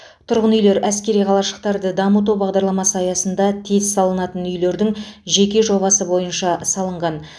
тұрғын үйлер әскери қалашықтарды дамыту бағдарламасы аясында тез салынатын үйлердің жеке жобасы бойынша салынған